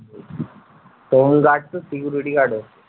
তখন security guard ও